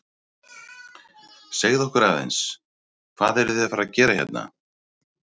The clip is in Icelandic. Segðu okkur aðeins, hvað eruð þið að fara að gera hérna?